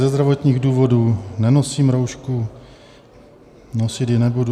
Ze zdravotních důvodů nenosím roušku, nosit ji nebudu.